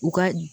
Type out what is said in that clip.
U ka